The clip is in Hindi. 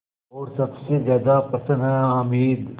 और सबसे ज़्यादा प्रसन्न है हामिद